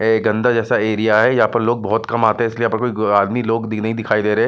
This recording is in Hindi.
एक गंदा जैसा एरिया है यहां पर लोग बहोत कम आते हैं इसलिए यह पर आदमी लोग भी नहीं दिखाई दे रहे।